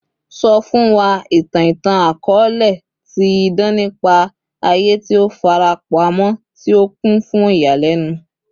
Sọ fun wa itan itan-akọọlẹ ti idan nipa aye ti o farapamọ ti o kun fun iyalẹnu